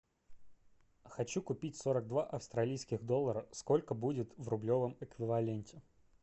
хочу купить сорок два австралийских доллара сколько будет в рублевом эквиваленте